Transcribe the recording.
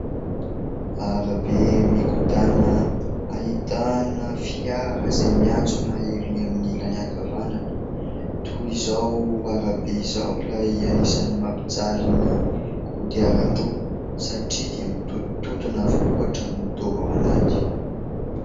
Arabe mikodana ahitana fiara izay miantsona erỳ amin'ny ilany ankavanana. Toa izao arabe izao ilay anisany mampijaly ny kodiaran-droa satria dia mitotona avokoa hatramin'ny taova ao anaty.